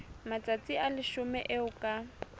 matsatsi a leshome eo ka